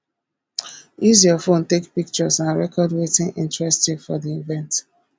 use your phone take pictures and record wetin interest you for di event